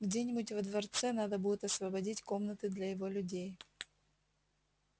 где-нибудь во дворце надо будет освободить комнаты для его людей